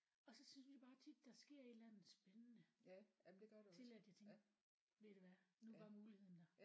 Og så synes jeg bare tit der sker et eller andet spændende til at jeg tænker ved du hvad nu var muligheden der